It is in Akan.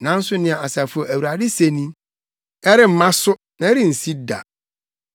Nanso nea Asafo Awurade se ni: “ ‘Ɛremma so, na ɛrensi da,